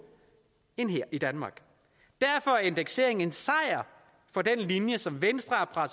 end her i danmark derfor er indekseringen en sejr for den linje som venstre har